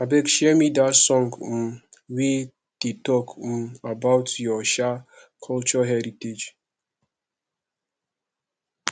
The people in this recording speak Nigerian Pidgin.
abeg share me that song um wey dey talk um about your um culture heritage